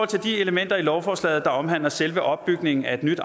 til de elementer i lovforslaget der omhandler selve opbygningen af et nyt